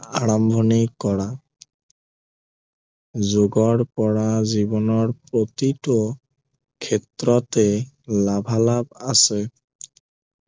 আৰম্ভণি কৰা যোগৰ পৰা জীৱনৰ প্ৰতিটো ক্ষেত্ৰতে লাভালাভ আছে